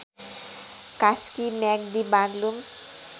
Kaski Myagdi Baglung